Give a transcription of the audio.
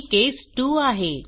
ही case 2 आहे